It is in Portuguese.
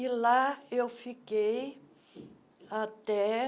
E lá eu fiquei até